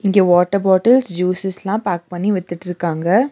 இங்க water bottles ஜூஸஸ்லா pack பண்ணி வித்துட்ருக்காங்க.